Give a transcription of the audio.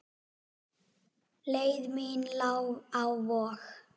Leið mín lá á Vog.